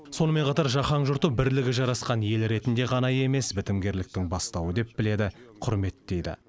сонымен қатар жаһан жұрты бірлігі жарасқан ел ретінде ғана емес бітімгерліктің бастауы деп біледі құрметтейді